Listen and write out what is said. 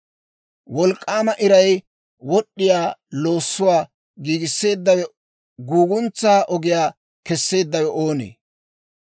«Wolk'k'aama iray wod'd'iyaa loossuwaa giigisseeddawe, guuguntsaw ogiyaa kesseeddawe oonee?